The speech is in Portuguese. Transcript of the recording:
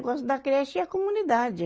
O negócio da creche e a comunidade.